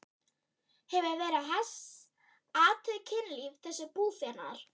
Hefur Vera Hess athugað kynlíf þessa búfénaðar?